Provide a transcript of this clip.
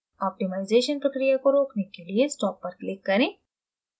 optimisation प्रक्रिया को रोकने के लिए stop पर click करें